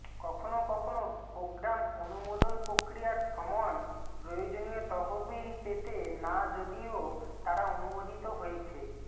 কখনও কখনও প্রোগ্রাম অনুমোদন প্রক্রিয়ার সময় প্রয়োজনীয় তহবিল পেতে না যদিও তারা অনুমোদিত হয়েছে